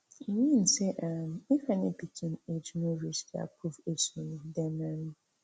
e mean say um if any pikin age no reach di approved age limit dem um